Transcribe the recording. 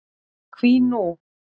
Hví nú?